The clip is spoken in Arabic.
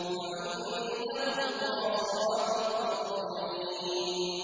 وَعِندَهُمْ قَاصِرَاتُ الطَّرْفِ عِينٌ